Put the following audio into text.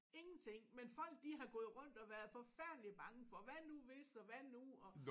Ingenting men folk de har gået rundt og været forfærdelig bange for hvad nu hvis og hvad nu og